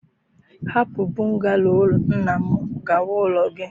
Hapu bungalow nna m gawa ulo gi!